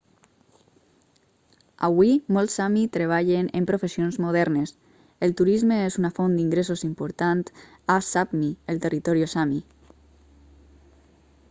avui molts sami treballen en professions modernes el turisme és una font d'ingressos important a sápmi el territori sami